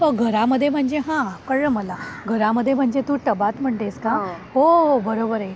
घरामध्ये म्हणजे हां कळलं मला. तर मला घरामध्ये म्हणजे तू टबात म्हणजेच कां हो बरोबर आहे.